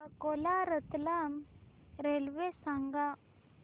Akola Ratlam railway सांगा